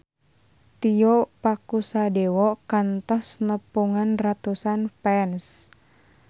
Tio Pakusadewo kantos nepungan ratusan fans